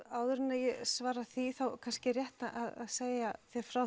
áður en ég svara því þá er kannski rétt að segja frá